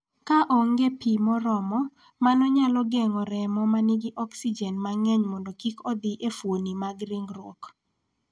Ka onge pi moromo, mano nyalo geng�o remo ma nigi oksijen mang�eny mondo kik odhi e fuoni mag ringruok.